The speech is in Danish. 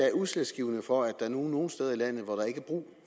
er udslagsgivende for at der nu er nogle steder i landet hvor der ikke er brug